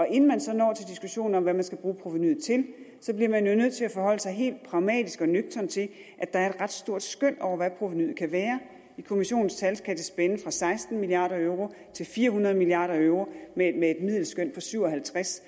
inden man så når til diskussionen om hvad man skal bruge provenuet til til bliver man jo nødt til at forholde sig helt pragmatisk og nøgtern til at der er et ret stort skøn over hvad provenuet kan være i kommissionens tal kan det spænde fra seksten milliard euro til fire hundrede milliard euro med et middelskøn på syv og halvtreds